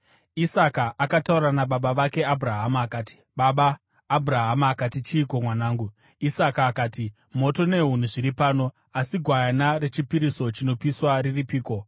Isaka akataura nababa vake Abhurahama akati, “Baba!” Abhurahama akati, “Chiiko mwanangu?” Isaka akati, “Moto nehuni zviri pano, asi gwayana rechipiriso chinopiswa riripiko?”